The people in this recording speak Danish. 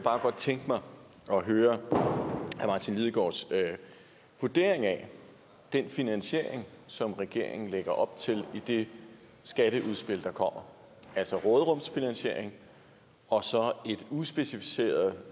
tænke mig at høre herre martin lidegaards vurdering af den finansiering som regeringen lægger op til i det skatteudspil der kommer altså råderumsfinansieringen og så et uspecificeret